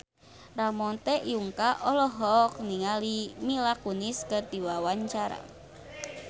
Ramon T. Yungka olohok ningali Mila Kunis keur diwawancara